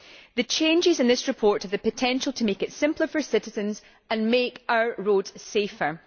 The changes in this report have the potential to make it simpler for citizens and make our roads safer.